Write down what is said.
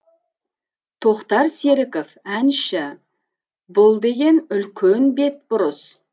тоқтар серіков әнші бұл деген үлкен бетбұрыс